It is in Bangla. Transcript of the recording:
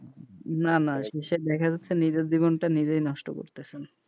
না, না দেখা যাচ্ছে যে নিজের জীবনটা নিজেই নষ্ট করতেছেন,